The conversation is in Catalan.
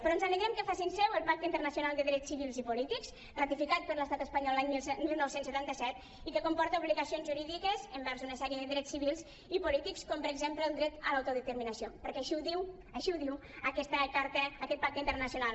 però ens alegrem que es facin seu el pacte internacional de drets civils i polítics ratificat per l’estat espanyol l’any dinou setanta set i que comporta obligacions jurídiques envers una sèrie de drets civils i polítics com per exemple el dret a l’autodeterminació perquè així ho diu aquest pacte internacional